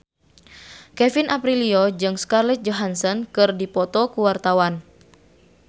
Kevin Aprilio jeung Scarlett Johansson keur dipoto ku wartawan